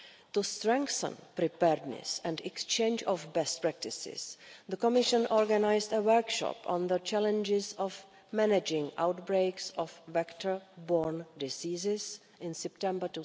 To strengthen preparedness and exchange of best practices, the Commission organised a workshop on the challenges of managing outbreaks of vector borne diseases in September